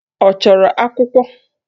Ọ chọrọ akwụkwọ?